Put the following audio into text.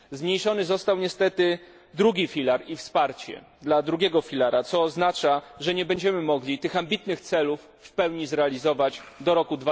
Zmniejszone zostało niestety wsparcie dla II filara, co oznacza, że nie będziemy mogli tych ambitnych celów w pełni zrealizować do roku